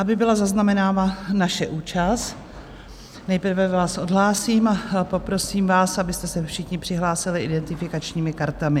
Aby byla zaznamenána naše účast, nejprve vás odhlásím a poprosím vás, abyste se všichni přihlásili identifikačními kartami.